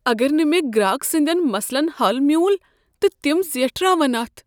اگر نہٕ مےٚ گراک سٕندٮ۪ن مسلن حل میوٗل تہٕ تِم زیٹھراون اتھ؟